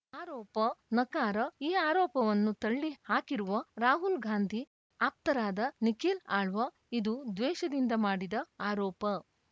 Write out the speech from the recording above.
ಆರೋಪ ನಕಾರ ಈ ಆರೋಪವನ್ನು ತಳ್ಳಿ ಹಾಕಿರುವ ರಾಹುಲ್‌ ಗಾಂಧಿ ಆಪ್ತರಾದ ನಿಖಿಲ್‌ ಆಳ್ವ ಇದು ದ್ವೇಷದಿಂದ ಮಾಡಿದ ಆರೋಪ